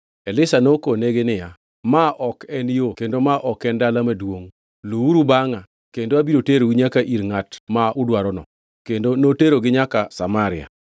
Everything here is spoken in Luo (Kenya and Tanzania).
Elisha nokonegi niya, “Ma ok en yo kendo ma ok en dala maduongʼ. Luw-uru bangʼa kendo abiro terou nyaka ir ngʼat ma udwarono.” Kendo noterogi nyaka Samaria.